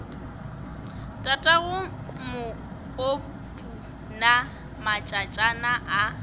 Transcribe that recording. tatago mokopu na matšatšana a